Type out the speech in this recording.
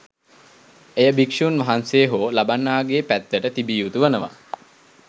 එය භික්‍ෂූන් වහන්සේ හෝ ලබන්නාගේ පැත්තට තිබිය යුතු වනවා.